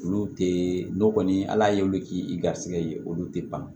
Olu tɛ n'o kɔni ala ye olu k'i garijɛgɛ ye olu tɛ ban